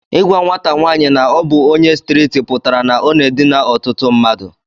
Igwa nwata nwanyi na obu onye striti putara na ọna edina ọtụtụ mmadu.